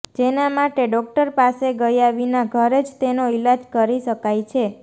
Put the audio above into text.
જેના માટે ડોક્ટર પાસે ગયા વિના ઘરે જ તેનો ઈલાજ કરી શકાય છે